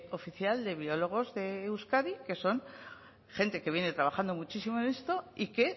oficial de biólogos de euskadi que son gente que viene trabajando muchísimo en esto y que